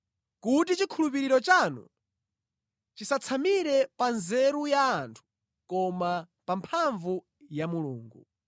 kuti chikhulupiriro chanu chisatsamire pa nzeru ya anthu koma pa mphamvu za Mulungu.